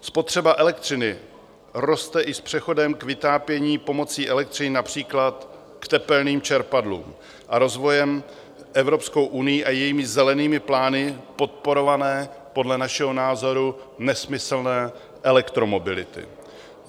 Spotřeba elektřiny roste i s přechodem k vytápění pomocí elektřiny, například k tepelným čerpadlům, a rozvojem Evropskou unií a její zelenými plány podporované podle našeho názoru nesmyslné elektromobility.